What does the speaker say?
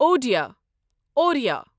Odia Oriya